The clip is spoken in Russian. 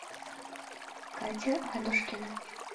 катя ладушкина